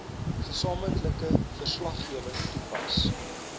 gesamentlike verslaggewing toepas